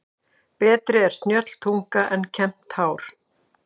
Betri er snjöll tunga en kembt hár.